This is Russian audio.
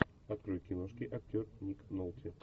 открой киношки актер ник нолти